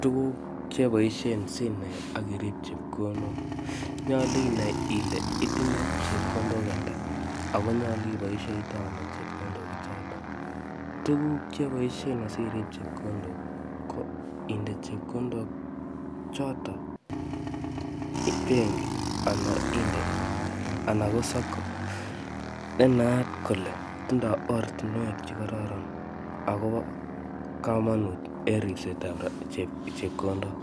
Tuguk che boisien simet akirip chepkondok. Nyolu inai ile itinye chepkondok ata ako nyolu iboisitoi ano chepkondok chotok. Tuguk che boisien asirip chepkondok ko inde chepkondok chotok benki anan inde anan ko sacco ne naat kole tindoi ortunwek che kararan, akobo komonut en ripset ap chepkondok.